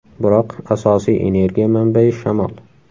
Biroq asosiy energiya manbayi shamol.